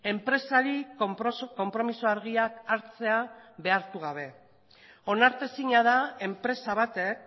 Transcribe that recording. enpresari konpromiso argiak hartzea behartu gabe onartezina da enpresa batek